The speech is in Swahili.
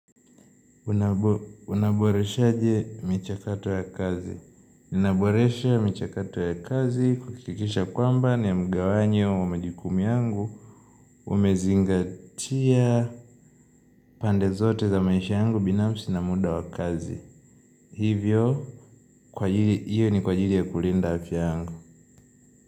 Unaboreshaje michakato ya kazi? Ninaboresha michakato ya kazi kuhakikisha kwamba ni mgawanyo wa majukumu yangu. Umezingatia pande zote za maisha yangu binafsi na muda wa kazi. Hivyo, kwa ajili, hiyo ni kwa ajili ya kulinda afya yangu.